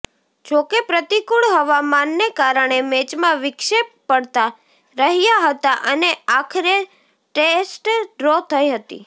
જોકે પ્રતિકૂળ હવામાનને કારણે મેચમાં વિક્ષેપ પડતા રહ્યા હતાઅને આખરે ટેસ્ટ ડ્રો થઈ હતી